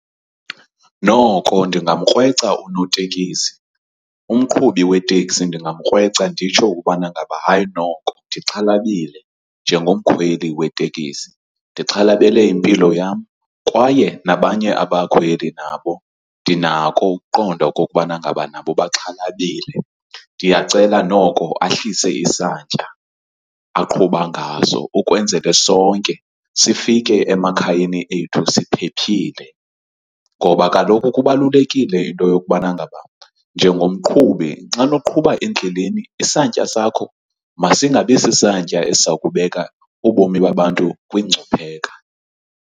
Noko ndingamkrweca unotekisi. Umqhubi weteksi ndingamkrweca nditsho ubana ngaba hayi noko ndixhalabile njengomkhweli wetekisi, ndixhalabele impilo yam kwaye nabanye abakhweli nabo ndinako ukuqonda okokubana ngaba nabo baxhalabile. Ndiyacela noko ahlise isantya aqhuba ngaso ukwenzele sonke sifike emakhayeni ethu siphephile. Ngoba kaloku kubalulekile into yokubana ngaba njengomqhubi xana uqhuba endleleni isantya sakho masingabi sisantya esiza kubeka ubomi babantu kwingcupheka.